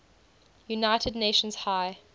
united nations high